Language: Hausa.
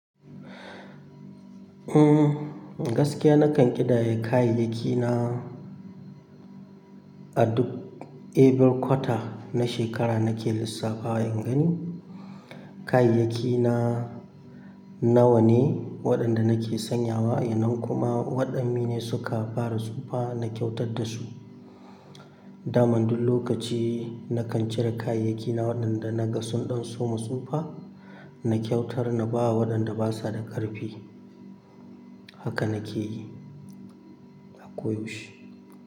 Eh, gaskiya nakan ƙidaya kayayyaki na. A duk every quarter na shekara nake lissafa in gani kayayyaki na nawa ne waɗanda nake sanyawa yanzu kuma waɗanne ne suka fara tsufa na kyautar da su. Daman duk lokaci nakan cire kayayyaki na waɗanda na ga sun ɗan soma tsufa na kyautar na ba wa waɗanda basa da ƙarfi. Haka na ke yi. A koyaushe.